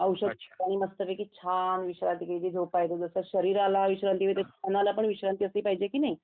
औषध घेतलं आणि मस्त पैकी छान असं विश्रांती घ्यायची झोपायचं जसं शरीराला विश्रांती देतो तस मनाला पण विश्रांती असली पाहिजे कि नाही